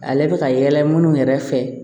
Ale bɛ ka yɛlɛ minnu yɛrɛ fɛ